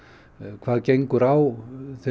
hvað gengur á